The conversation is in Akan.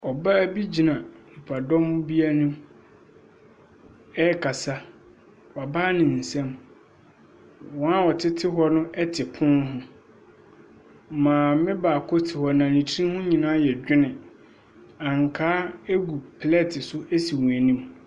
Ɔbaa bi gyina nnipadɔm bi anim ɛkasa, wabae ne nsam. Wɔn a wɔtete hɔ no ɛte pono ho. Maame baako te hɔ, na ne tiri ho nyinaa yɛ dwene. Ankaa egu plɛt so esi wɔn anim.